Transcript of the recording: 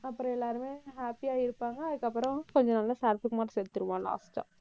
அப்புறம் எல்லாருமே happy யா இருப்பாங்க. அதுக்கப்புறம், கொஞ்சம் நாள்ல சரத்குமார் செத்துருவான் last ஆ